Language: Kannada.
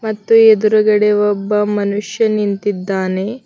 ಮತ್ತು ಎದುರುಗಡೆ ಒಬ್ಬ ಮನುಷ್ಯ ನಿಂತಿದ್ದಾನೆ.